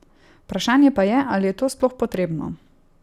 Vprašanje pa je, ali je to sploh potrebno.